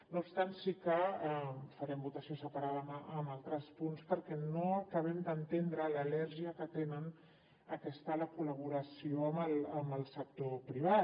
no obstant sí que farem votació separada en altres punts perquè no acabem d’entendre l’al·lèrgia que tenen a la col·laboració amb el sector privat